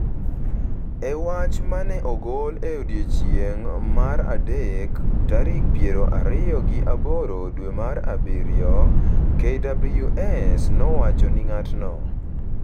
E wach ma ne ogol e odiechieng’ mar adek, tarik piero ariyo gi aboro dwe mar abiriyo, KWS nowacho ni ng’atno,